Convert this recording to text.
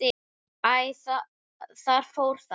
Æ, þar fór það.